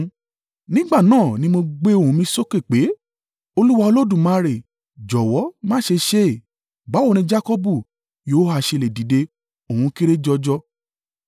Nígbà náà ni mo gbé ohùn mi sókè pé, “Olúwa Olódùmarè jọ̀wọ́ má ṣe ṣe é! Báwo ni Jakọbu yóò ha ṣe lè dìde? Òun kéré jọjọ!”